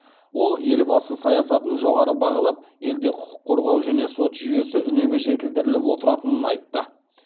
ол елбасы саясатын жоғары бағалап елде құқық қорғау және сот жүйесі үнемі жетілдіріліп отыратынын айтты